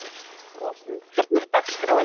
Róslind, hvernig er dagskráin?